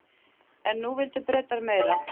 En nú vildu Bretar meira.